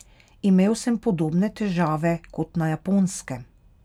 Imel sem podobne težave kot na Japonskem.